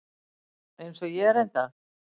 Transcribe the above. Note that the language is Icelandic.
Eins og ég reyndar.